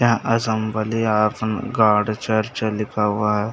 यहाँ Assembly of God Church लिखा हुआ है।